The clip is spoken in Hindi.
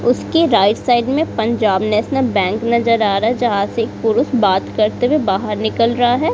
उसके राइट साइड में पंजाब नेशनल बैंक नजर आ रहा है जहां से एक पुरुष बात करते बाहर निकल रहा है।